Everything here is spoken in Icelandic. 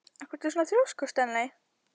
Af hverju ertu svona þrjóskur, Stanley?